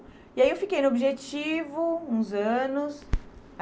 E aí eu fiquei no Objetivo uns anos.